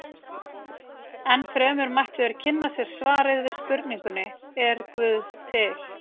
Ennfremur mættu þeir kynna sér svarið við spurningunni Er guð til?